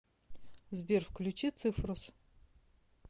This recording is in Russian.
сбер включи цифрус